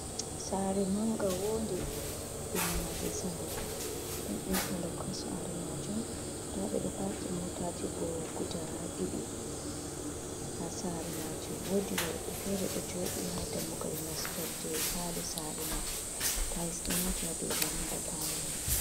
Saare manga wonde ɗum maadi zamano don intalok ha saare majum nda ɓe ɗo paki motaji bo guda ha didi ha sare majum wodi worɓe fere ɗo jooɗi i ha dammugal nastorde palo sare mai tais ɗo maati ha dow varanda palo man.